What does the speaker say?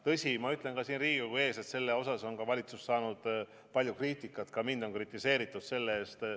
Tõsi, ma ütlen ka siin Riigikogu ees, et selle pärast on valitsus saanud palju kriitikat, ka mind on selle eest kritiseeritud.